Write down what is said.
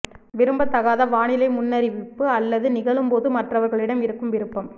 விரும்பத்தகாத வானிலை முன்னறிவிப்பு அல்லது நிகழும் போது மற்றவர்களிடம் இருக்கும் விருப்பம்